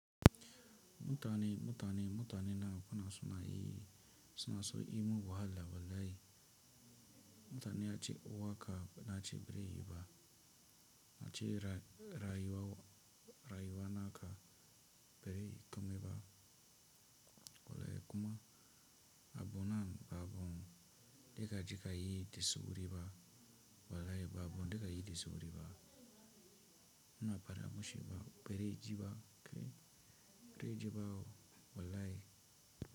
Mutane, mutane, mutane na kuna suna yi, suna so imu wahala wallahi. Mutane a ci ko waka na ci berayi ba, na ci rayiwa, rayiwa naka berayi kome ba. Wlh kuma abunan babu da kaje kayi da sauri ba, wallahi babu wanda zaiyi da sauri ba. Muna fada mishi ba bazai ji ba, bazai jiba woo wallahi.